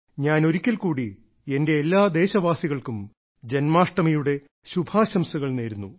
ഞാൻ ഒരിക്കൽക്കൂടി എന്റെ എല്ലാ ദേശവാസികൾക്കും ജന്മാഷ്ടമിയുടെ ശുഭാശംസകൾ നേരുന്നു